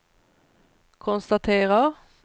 konstaterar